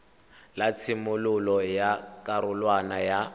la tshimololo ya karolwana ya